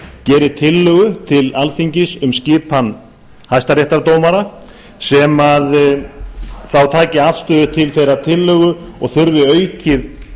geri tillögu til alþingis um skipan hæstaréttardómara sem þá tæki afstöðu til þeirrar tillögu og þurfi